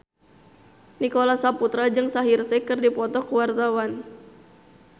Nicholas Saputra jeung Shaheer Sheikh keur dipoto ku wartawan